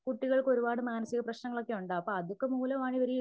കുട്ടികൾക്ക് ഒരുപാട് മാനസിക പ്രശ്നങ്ങളൊക്കെ ഉണ്ടാകും അപ്പോ അതൊക്കെ മൂലമാ ണെങ്കിൽ